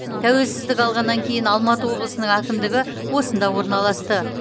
тәуелсіздік алғаннан кейін алматы облысының әкімдігі осында орналасты